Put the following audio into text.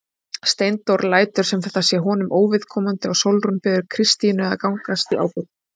Steindór lætur sem þetta sé honum óviðkomandi og Sólrún biður Kristínu að gangast í ábyrgð.